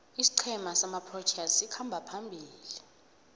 isiqhema samaproteas sikhamba phambili